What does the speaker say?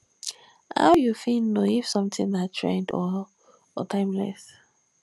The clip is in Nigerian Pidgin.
how you fit know if something na trend or or timeless